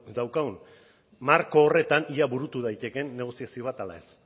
daukan marko horretan ea burutu daitekeen negoziazio bat ala ez